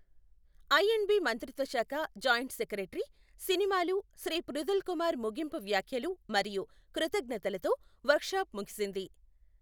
I and B మంత్రిత్వ శాఖ joint secretary, సినిమాలు, శ్రీ పృథుల్ కుమార్ ముగింపు వ్యాఖ్యలు మరియు కృతజ్ఞతలతో వర్క్షాప్ ముగిసింది.